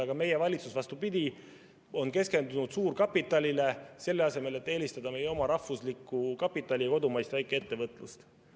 Aga meie valitsus, vastupidi, on keskendunud suurkapitalile, selle asemel et eelistada meie oma rahvuslikku kapitali ja kodumaist väikeettevõtlust.